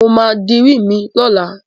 Mo máa dirí mi lọ́la.